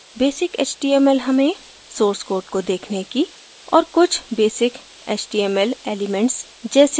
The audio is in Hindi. basic html हमें source code को देखने की और कुछ basic html elements जैसे